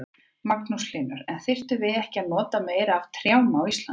Magnús Hlynur: En þyrftum við ekki að nota meira af trjám á Íslandi?